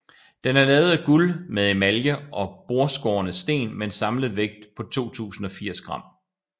Den er lavet af guld med emalje og bordskårne sten med en samlet vægt på 2080 g